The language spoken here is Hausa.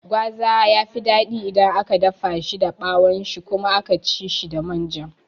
Gwaza yafi daɗi idan aka dafa da ɓawon shi kuma aka ci da manja